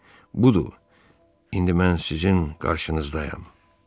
Budur, indi mən sizin qarşınızdayam.